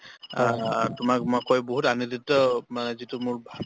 আ তোমাক মই কৈ বহুত আগতেতো মানে যিটো মোৰ